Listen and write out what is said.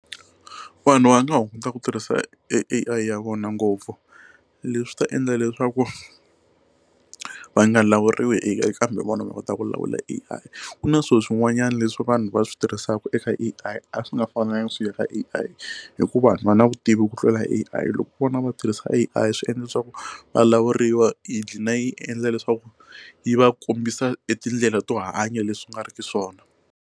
Vanhu va nga hunguta ku tirhisa A_I ya vona ngopfu leswi ta endla leswaku va nga lawuriwi hi A_I vona va kota ku lawula A_I ku na swilo swin'wanyana leswi vanhu va swi tirhisaka eka A_I a swi nga fanelanga swi ya ka A_I hikuva va na vutivi ku tlula A_I loko vona va tirhisa A_I swi endla leswaku va lawuriwa hi glina yi endla leswaku yi va kombisa e tindlela to hanya leswi nga ri ki swona.